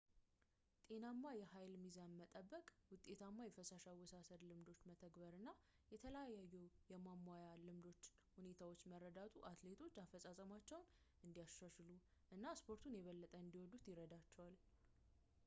ጤናማ የኃይል ሚዛን መጠበቅ ውጤታማ የፈሳሽ አወሳሰድ ልምዶችን መተግበር እና የተለያዩ የማሟያ ልምዶች ሁኔታዎችን መረዳቱ አትሌቶች አፈጻጸማቸውን እንዲያሻሽሉ እና ስፖርቱን የበለጠ እንዲወዱት ይረዳቸዋል